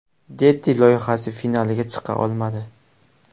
Deti” loyihasi finaliga chiqa olmadi.